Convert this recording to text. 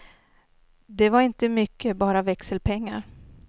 Det var inte mycket bara växelpengar.